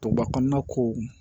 Duguba kɔnɔna ko